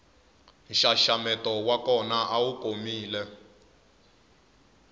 nxaxameto wa kona awu komile